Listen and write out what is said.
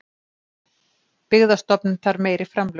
Byggðastofnun þarf meiri framlög